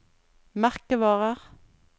merkevarer